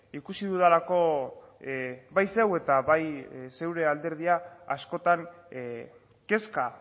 ikusi dudalako bai zeu eta bai zeure alderdia askotan kezka